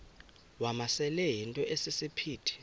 wamasele yinto esisiphithi